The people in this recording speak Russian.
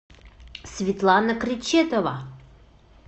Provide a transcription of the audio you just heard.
светлана кречетова